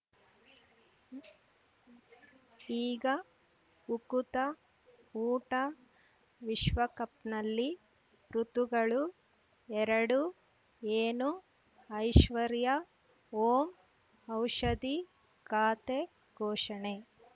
ಈಗ ಉಕುತ ಊಟ ವಿಶ್ವಕಪ್‌ನಲ್ಲಿ ಋತುಗಳು ಎರಡು ಏನು ಐಶ್ವರ್ಯಾ ಓಂ ಔಷಧಿ ಖಾತೆ ಘೋಷಣೆ